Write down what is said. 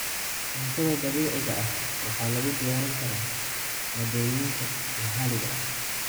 Cuntada dabiiciga ah waxaa lagu diyaarin karaa maaddooyinka maxaliga ah.